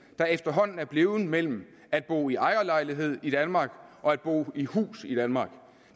der efterhånden er blevet mellem at bo i ejerlejlighed i danmark og at bo i hus i danmark